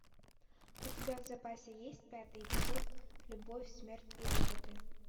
у тебя в запасе есть пятый эпизод любовь смерть и роботы